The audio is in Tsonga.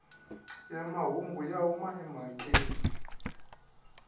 ya mahungu ya huma emhakeni